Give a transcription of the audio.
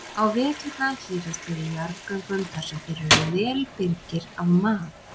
Á veturna hírast þeir í jarðgöngum þar sem þeir eru vel birgir af mat.